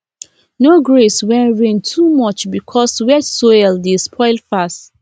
no graze when rain too much because wet soil dey spoil fast